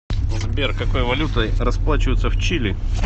сбер какой валютой расплачиваются в чили